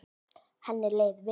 Henni leið vel.